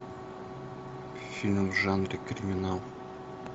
фильм в жанре криминал